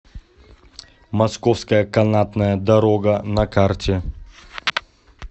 московская канатная дорога на карте